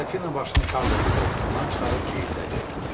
Buratino başını Karlonun qoltuğundan çıxarıb ciyildədi.